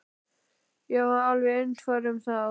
Ég var alveg einfær um það.